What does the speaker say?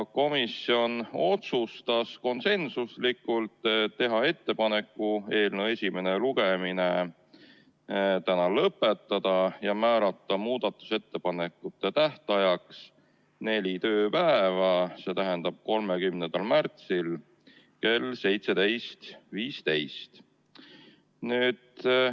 Komisjon otsustas konsensuslikult teha ettepaneku eelnõu esimene lugemine täna lõpetada ja määrata muudatusettepanekute tähtajaks neli tööpäeva, 30. märtsi kell 17.15.